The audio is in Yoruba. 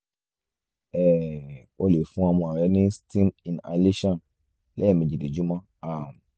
um o lè fún ọmọ rẹ ní steam inhalation lẹ́ẹ̀mejì lójúmọ́ um